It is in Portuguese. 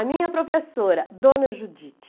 A minha professora, Dona Judite.